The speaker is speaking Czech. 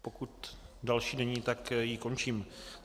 Pokud další není, tak ji končím.